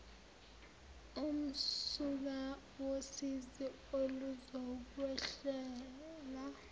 umsuka wosizi oluzokwehlela